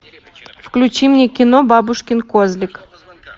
включи мне кино бабушкин козлик